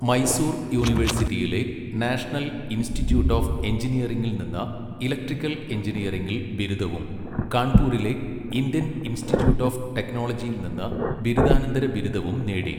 മൈസൂർ യൂണിവേഴ്സിറ്റിയിലെ national institute of എഞ്ചിനീയറിംഗിൽ നിന്ന് ഇലക്ട്രിക്കൽ എഞ്ചിനീയറിംഗിൽ ബിരുദവും കാൺപൂരിലെ ഇന്ത്യൻ ഇൻസ്റ്റിറ്റ്യൂട്ട് ഓഫ് ടെക്നോളജിയിൽ നിന്ന് ബിരുദാനന്തര ബിരുദവും നേടി.